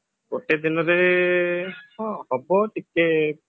ଗୋଟେ ଦିନରେ ଆଁ ହଁ ହବ ଟିକେ